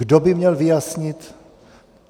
Kdo by měl vyjasnit?